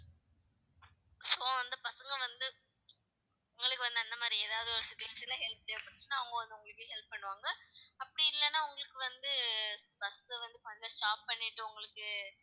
so அந்த பசங்க வந்து உங்களுக்கு வந்து, அந்த மாதிரி ஏதாவது ஒரு situation ல help தேவைப்பட்டுச்சுன்னா அவங்க வந்து, உங்களுக்கு help பண்ணுவாங்க அப்படி இல்லைன்னா உங்களுக்கு வந்து, bus அ வந்து முதல்ல stop பண்ணிட்டு உங்களுக்கு